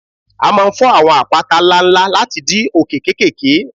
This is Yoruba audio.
A máa ń fọ́ àwọn àpáta ńlá ńlá láti di òkè kéékèèké